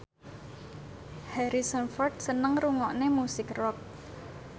Harrison Ford seneng ngrungokne musik rock